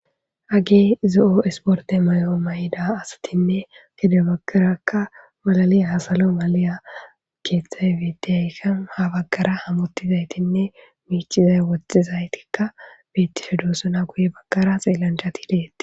Hage zo7o isporde may7oo may7ida asatinne gede baggarakka malali hasalo maliya keeththay wiidiyaykan ha baggara hamottizaytinne miicizay woxxizaytikka beittishe duosuna guye baggara xiellanchatideei